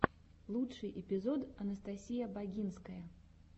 лучший эпизод анастасия багинская